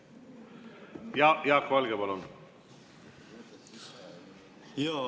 Jaak Valge, palun!